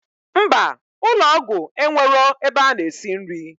Mba, ụlọgwụ enwero ebe ana esi nri